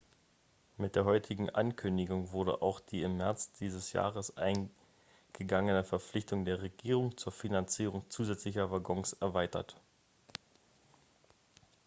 mit der heutigen ankündigung wurde auch die im märz dieses jahres eingegangene verpflichtung der regierung zur finanzierung zusätzlicher waggons erweitert